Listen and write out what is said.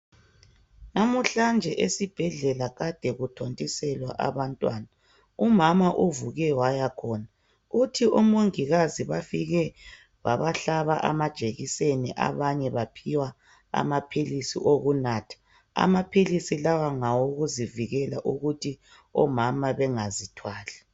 Lamuhla nje esibhedlela kade ukuthontiselwa abantwana. Umama uvuke waya khona, uthi omongikazi bafike babahlaba amajekiseni abanye baphiwa amaphilisi okunatha. Amaphilisi lawa ngawokuzivikela ukuthi omama bengazithwali.